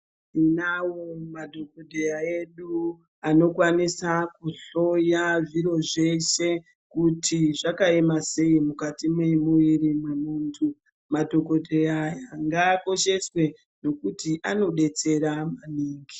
Tinawo madhokodheya edu anokwanisa kuhloya zviro zveshe kuti zvakaema sei mukati memuwiri wemuntu madhokodheya aya ngaakosheswe ngekuti anodetsera maningi.